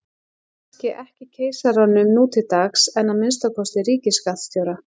Kannski ekki keisaranum nú til dags en að minnsta kosti ríkisskattstjóra.